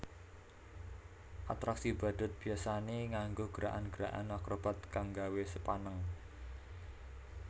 Atraksi badhut biyasané nganggo gerakan gerakan akrobat kang nggawé sepaneng